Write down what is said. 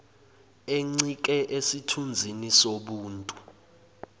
encike esithunzini sobuntu